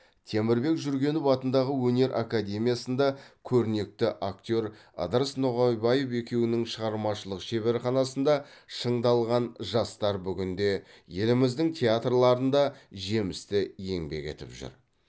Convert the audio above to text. темірбек жүргенов атындағы өнер академиясында көрнекті актер ыдырыс ноғайбаев екеуінің шығармашылық шеберханасында шыңдалған жастар бүгінде еліміздің театрларында жемісті еңбек етіп жүр